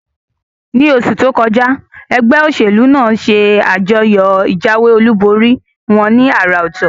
Ní osù tókọjá, egbé òsèlú nàá se àjọyò ìjáwé olúborí wón ní àrà òtò